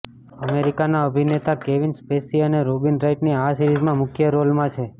અમેરિકાના અભિનેતા Kevin Spacey અને રોબિન રાઈટની આ સિરીઝમાં મુખ્ય રોલમાં છે